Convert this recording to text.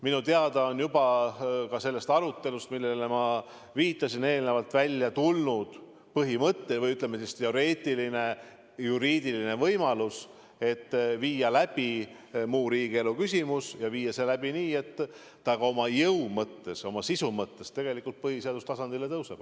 Minu teada on juba ka sellest arutelust, millele ma eelnevalt viitasin, välja tulnud põhimõte või teoreetiline juriidiline võimalus, et viia see läbi muu riigielu küsimusena ja viia see läbi nii, et see ka oma jõu ja oma sisu mõttes tegelikult põhiseaduse tasandile tõuseb.